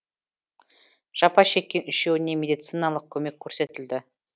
жапа шеккен үшеуіне медициналық көмек көрсетілді